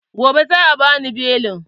Gobe za'a bani belin.